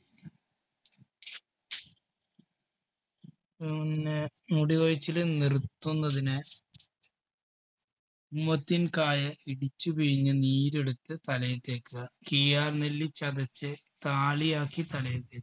ഉം പിന്നെ മുടി കൊഴിച്ചില് നിർത്തുന്നതിന് ഉമ്മത്തിൻക്കായ ഇടിച്ചു പിഴിഞ്ഞ് നീരെടുത്ത് തലയിൽ തേക്കുക കീഴാർനെല്ലി ചതച്ച് താളിയാക്കി തലയിൽ തേയ്